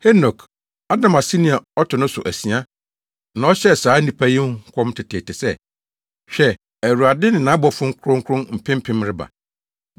Henok, Adam aseni a ɔto no so asia na ɔhyɛɛ saa nnipa yi ho nkɔm teteete sɛ, “Hwɛ, Awurade ne nʼabɔfo Kronkron mpempem reba,